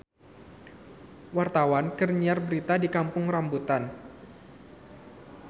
Wartawan keur nyiar berita di Kampung Rambutan